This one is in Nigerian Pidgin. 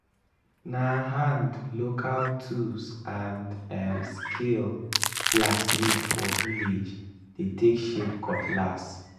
na hand local tools and um skill blacksmith for village dey take shape cutlass.